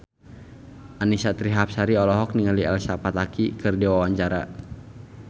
Annisa Trihapsari olohok ningali Elsa Pataky keur diwawancara